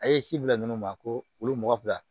A' ye si bila minnu ma ko olu mɔgɔ fila